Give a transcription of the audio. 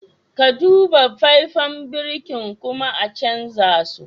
Ka Duba faifen birkin kuma a canza su.